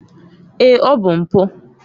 Èé! ọ bụ mpụ